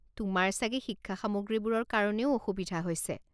তোমাৰ চাগে শিক্ষা সামগ্ৰীবোৰৰ কাৰণেও অসুবিধা হৈছে?